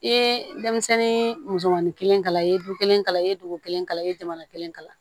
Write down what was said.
I ye denmisɛnnin musomanin kelen kalan i ye dugu kelen kalan i ye dugu kelen kalan i ye jamana kelen kalan